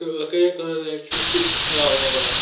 लोके का शिक्षा --